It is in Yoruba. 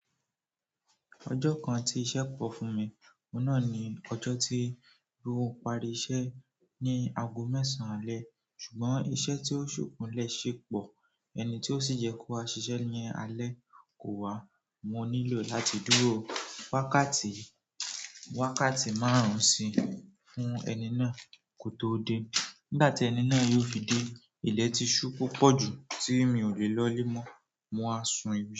Ọjọ́ kan tí iṣẹ́ pọ̀ fún mi, ohun náà ni ọjọ́ tí mo parí iṣẹ́ ní aago mẹ́sàn-án alẹ́. Ṣùgbọ́n iṣẹ́ tí ó ṣòkunlẹ̀ ṣẹ̀ pọ̀, ẹni tí ó sì jẹ́ kó wa ṣiṣẹ́ ni alẹ́ kò wá. Mo nílò láti dúró wákàtí márùn-ún sí fún ẹni náà kó tó dé. Nígbà tí ẹni náà yóò fi dé, ilẹ̀ ti ṣú púpọ̀ jù tí mi ò lè lọ̀lẹ̀ mọ́, mo wa sun ìbi.